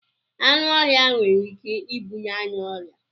Anụ ọhịa nwere Ike ịbuye anyị ọrịa